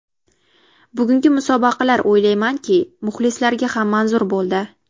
Bugungi musobaqalar o‘ylaymanki, muxlislarga ham manzur bo‘ldi.